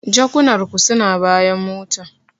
Jakunar ku suna bayan mota.